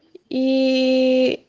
ии